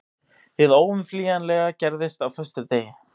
Hið óumflýjanlega gerðist á föstudegi.